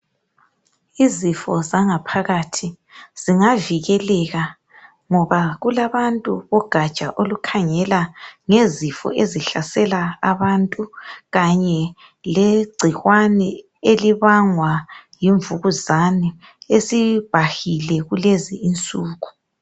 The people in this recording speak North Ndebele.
Izifo zangaphakathi zingavikeleka ngoba kulabantu bogatsha olukhangela ngezifo ezihlasela abantu kanye legcikwane elibangwa yimvukuzane esibhahile kulezinsuku.